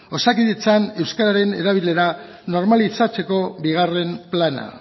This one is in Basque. osakidetzan euskararen erabilera normalizatzeko bigarren plana